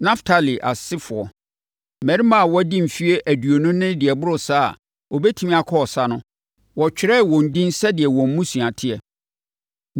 Naftali asefoɔ: Mmarima a wɔadi mfeɛ aduonu ne deɛ ɛboro saa a wɔbɛtumi akɔ ɔsa no, wɔtwerɛɛ wɔn edin sɛdeɛ wɔn mmusua teɛ.